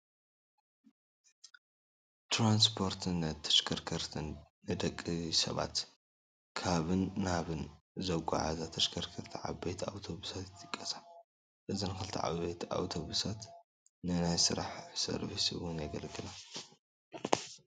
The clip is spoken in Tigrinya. ትራንስፖርትን ተሽከርከርትን፡- ንደቂ ሰባት ካብን ናብን ዘጓዓዕዛ ተሽከርከርቲ ዓበይቲ ኣብቶብሳት ይጥቀሳ፡፡ እዘን ክልተ ዓበይቲ ኣውቶብሳት ንናይ ስራሕ ሰርቪስ ውን የገልግላ፡፡